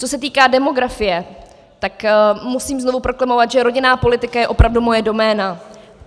Co se týká demografie, tak musím znovu proklamovat, že rodinná politika je opravdu moje doména.